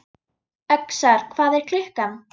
Öxar, hvað er klukkan?